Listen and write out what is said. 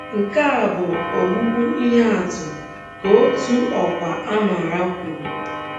Nke a bụ ‘ ogbugbu ihe atụ, ’ ka otu ọkwa a mara kwuru.